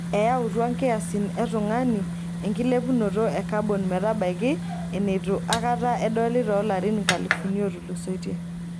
Eyautua kiasin e tungani enkilepunoto e kabon metabaiki eneitu akata edoli toolarin nkalifuni ootulusoitie.